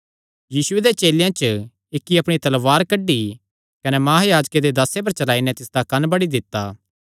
यीशुये दे चेलेयां च इक्की अपणी तलवार कड्डी कने महायाजके दे दासे पर चलाई नैं तिसदा कंन्न बड्डी दित्ता